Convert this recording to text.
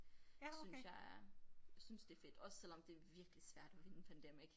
Synes jeg er synes det fedt også selvom det virkelig svært at vinde Pandemic